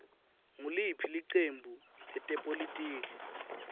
nguliphi licembu letepolitiki